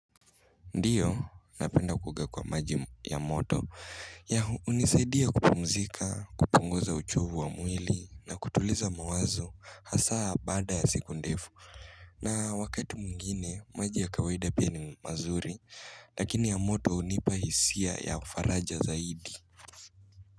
Ndiyo, napenda kuoga kwa maji ya moto ya hunisaidia kupumzika, kupunguza uchovu wa mwili na kutuliza mawazo hasa baada ya siku ndefu. Na wakati mwingine, maji ya kawaida pia ni mazuri, lakini ya moto hunipa hisia ya faraja zaidi.